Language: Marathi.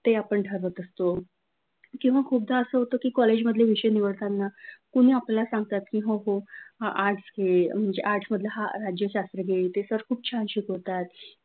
ते आपण ठरवत असतो किंवा खूप तर असं होतं की कॉलेजचे विषय निवडताना कुणी आपल्याला सांगतात की हो म्हणजे हा आर्ट्स मधला राज्यशास्त्र घे ते सर खूप छान शिकवतात ते आपण ठरवत असतो.